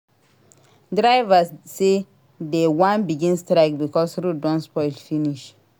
Drivers say dey wan begin strike because road don spoil finish.